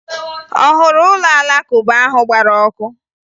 Ọ hụrụ ụlọ Alakụba ahụ gbara ọkụ?